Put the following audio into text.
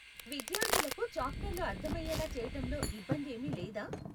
విద్యార్ధులకు చాప్టర్లు అర్ధమయేలా చేయటంలో ఇబ్బందేమీ లేదా?